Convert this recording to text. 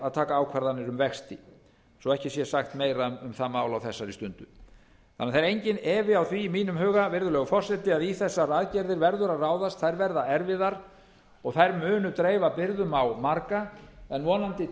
að taka ákvarðanir um vexti svo ekki sé sagt meira um það mál á þessari stundu það er því enginn efi á því í mínum huga virðulegur forseti að í þessar aðgerðir verður að ráðast þær verða erfiðar og þær munu dreifa byrðum á marga en vonandi